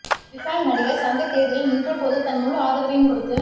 விஷால் நடிகர் சங்க தேர்தலில் நின்ற போது தன் முழு ஆதரவையும் கொடுத்து